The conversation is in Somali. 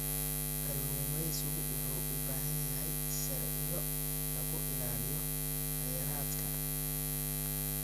Kalluumeysigu wuxuu u baahan yahay sharciyo lagu ilaaliyo kheyraadka.